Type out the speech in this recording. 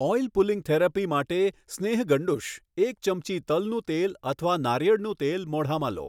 Oil pulling therapy માટે સ્નેહગંડૂશ એક ચમચી તલનું તેલ અથવા નારિયેળનું તેલ મોઢામાં લો.